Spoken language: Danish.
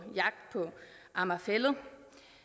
amager fælled